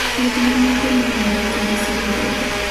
thieth mamoko nenore kendo siro lwedo